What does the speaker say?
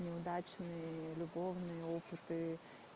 не удачные любовные опыты